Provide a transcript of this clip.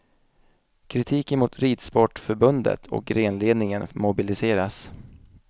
Kritiken mot ridsportförbundet och grenledningen mobiliseras.